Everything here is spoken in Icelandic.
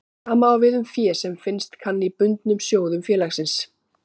Sama á við um fé sem finnast kann í bundnum sjóðum félagsins.